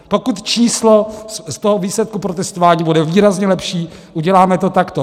Pokud číslo z toho výsledku protestování bude výrazně lepší, uděláme to takto.